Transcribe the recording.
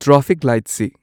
traffic ꯂꯥꯏꯠꯁꯤ